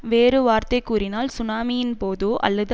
வேறு வார்த்தை கூறினால் சுனாமியின் போதோ அல்லது